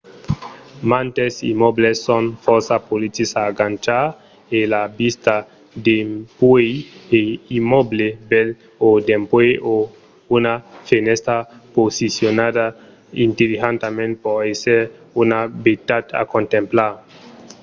mantes immòbles son fòrça polits a agachar e la vista dempuèi un immòble bèl o dempuèi una fenèstra posicionada intelligentament pòt èsser una beutat a contemplar